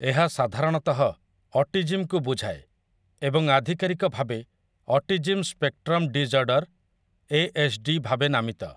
ଏହା ସାଧାରଣତଃ 'ଅଟିଜିମ୍'କୁ ବୁଝାଏ ଏବଂ ଆଧିକାରିକ ଭାବେ 'ଅଟିଜିମ୍ ସ୍ପେକ୍ଟ୍ରମ୍ ଡିଜ୍ଅର୍ଡ଼ର୍‌‌',ଏଏସ୍ଡି, ଭାବେ ନାମିତ ।